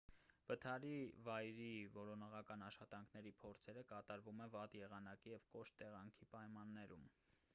վթարի վայրի որոնողական աշխատանքների փորձերը կատարվում են վատ եղանակի և կոշտ տեղանքի պայմաններում